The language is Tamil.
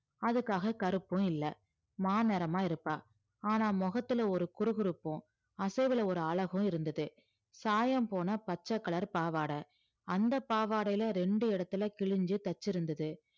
அதுக்காக கருப்பும் இல்ல மாநிறமா இருப்பா ஆனா முகத்துல ஒரு குறுகுறுப்பும் அசைவுல ஒரு அழகும் இருந்தது சாயம் போனா பச்சை color பாவாடை அந்த பாவாடையில ரெண்டு இடத்துல கிழிஞ்சு தைச்சிருந்தது